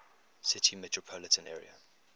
city metropolitan area